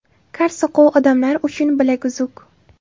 Kar-soqov odamlar uchun bilaguzuk.